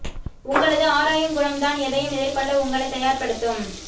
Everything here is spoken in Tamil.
உங்களது ஆராயும் குணம் தான் எதையும் எதிர்கொள்ள உங்களை தயார்ப்படுத்தும்